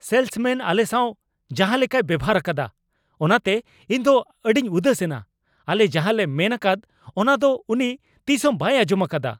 Salesmen ᱟᱞᱮ ᱥᱟᱣ ᱡᱟᱦᱟᱞᱮᱠᱟᱭ ᱵᱮᱵᱚᱦᱟᱨ ᱟᱠᱟᱫᱟ ᱚᱱᱟᱛᱮ ᱤᱧ ᱫᱚ ᱟᱹᱰᱤᱧ ᱩᱫᱟᱹᱥ ᱮᱱᱟ, ᱟᱞᱮ ᱡᱟᱦᱟᱸᱞᱮ ᱢᱮᱱ ᱟᱠᱟᱫ ᱚᱱᱟ ᱫᱚ ᱩᱱᱤ ᱛᱤᱥᱦᱚᱸ ᱵᱟᱭ ᱟᱸᱡᱚᱢᱟᱠᱟᱫᱟ ᱾